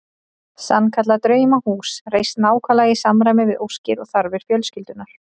Sannkallað draumahús reist nákvæmlega í samræmi við óskir og þarfir fjölskyldunnar.